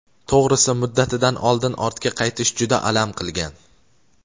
To‘g‘risi muddatidan oldin ortga qaytish juda alam qilgan.